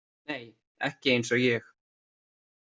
Nei, ekki eins og ég.